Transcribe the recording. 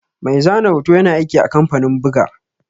Mai zane hoto ƴana aiki a kamfanin ɓuga.